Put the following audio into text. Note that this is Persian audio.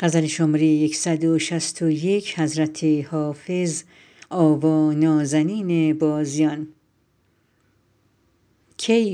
کی